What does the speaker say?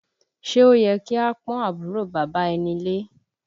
Ṣé o yẹ ki a pọ́n àbúrò bàbá ẹni lé?